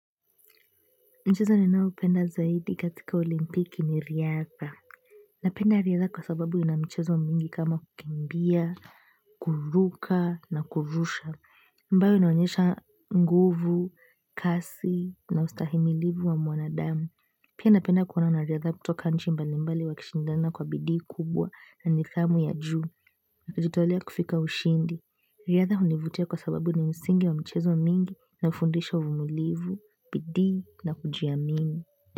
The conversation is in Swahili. Mchezo ninaoupenda zaidi katika olimpiki ni riadha. Napenda riadha kwa sababu ina michezo mingi kama kukimbia, kuruka na kurusha. Ambayo inaonyesha nguvu, kasi na ustahimilivu wa mwanadamu. Pia napenda kuona wanariadha kutoka nchi mbalimbali wakishindana kwa bidii kubwa na nidhamu ya juu. Na kujitolea kufika ushindi. Riadha univutia kwa sababu ni msingi wa michezo mingi na ufundisha uvumulivu, bidii na kujiamini.